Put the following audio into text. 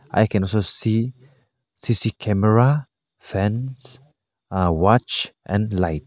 i can also see C_C camera fan a watch and light.